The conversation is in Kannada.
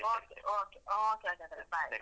Okay okay okay ಹಾಗಾದ್ರೆ, bye.